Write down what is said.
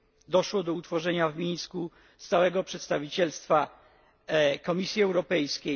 Doszło do utworzenia w Mińsku Stałego Przedstawicielstwa Komisji Europejskiej.